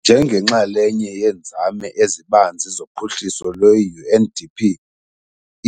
Njengenxalenye yeenzame ezibanzi zophuhliso lwe-UNDP,